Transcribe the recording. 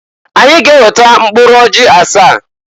Anyị ga-eweta mkpụrụ ọjị asaa.